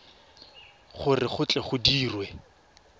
gore go tle go dirwe